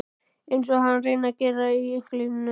Einsog hann reyni að gera í einkalífinu.